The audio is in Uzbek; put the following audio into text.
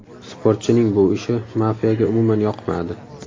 Sportchining bu ishi mafiyaga umuman yoqmadi.